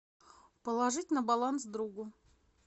положить на баланс другу